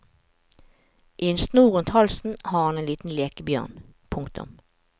I en snor rundt halsen har han en liten lekebjørn. punktum